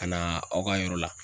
Ka na aw ka yɔrɔ la.